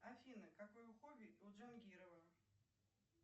афина какое хобби у джангирова